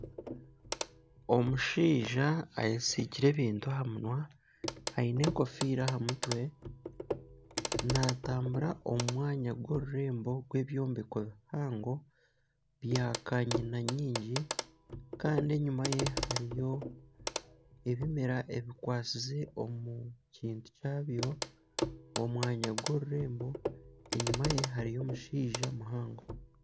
Omushaija ayesiigire ebintu aha munwa aine enkofiira aha mutwe naatambura omu mwanya gw'orurembo rw'ebyombeko bihango bya kanyina nyingi kandi enyima ye hariyo ebimera ebikwasize omu kintu kyabyo omwanya gw'orurembo enyima ye hariyo omushaija muhango.